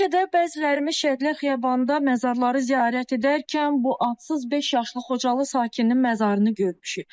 Bəlkə də bəzilərimiz Şəhidlər Xiyabanında məzarları ziyarət edərkən bu adsız beş yaşlı Xocalı sakininin məzarını görmüşük.